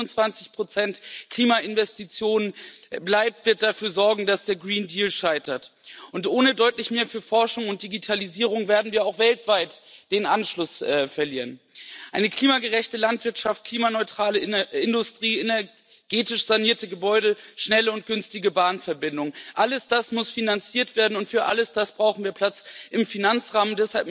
Wer bei 25 Klimainvestitionen bleibt, wird dafür sorgen, dass der Green Deal scheitert, und ohne deutlich mehr für Forschung und Digitalisierung werden wir auch weltweit den Anschluss verlieren. Eine klimagerechte Landwirtschaft, klimaneutrale Industrie, energetisch sanierte Gebäude, schnelle und günstige Bahnverbindungen Alles das muss finanziert werden und für alles das brauchen wir Platz im Finanzrahmen.